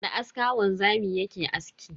Da aska wanzami yake aski.